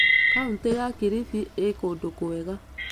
Kauntĩ ya Kilifi ĩĩ kũndũ kwega.